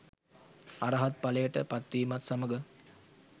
අරහත් ඵලයට පත්වීමත් සමඟ